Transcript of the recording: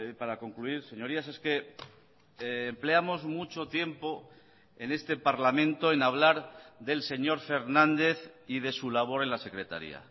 para concluir señorías es que empleamos mucho tiempo en este parlamento en hablar del señor fernández y de su labor en la secretaría